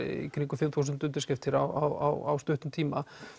fimm þúsund undirskriftir á stuttum tíma